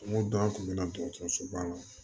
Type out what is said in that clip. N ko dɔn an tun bɛ na dɔgɔtɔrɔsoba la